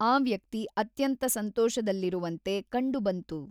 ಆ ವ್ಯಕ್ತಿ ಅತ್ಯಂತ ಸಂತೋಷದಲ್ಲಿರುವಂತೆ ಕಂಡು ಬಂತು.